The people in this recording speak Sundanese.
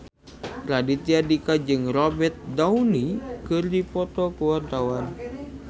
Raditya Dika jeung Robert Downey keur dipoto ku wartawan